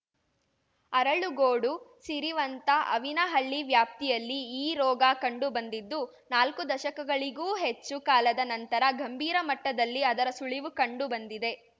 ಅರಳುಗೋಡು ಸಿರಿವಂತ ಆವಿನಹಳ್ಳಿ ವ್ಯಾಪ್ತಿಯಲ್ಲಿ ಈ ರೋಗ ಕಂಡು ಬಂದಿದ್ದು ನಾಲ್ಕು ದಶಕಗಳಿಗೂ ಹೆಚ್ಚು ಕಾಲದ ನಂತರ ಗಂಭೀರ ಮಟ್ಟದಲ್ಲಿ ಅದರ ಸುಳಿವು ಕಂಡು ಬಂದಿದೆ